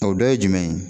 O dɔ ye jumɛn ye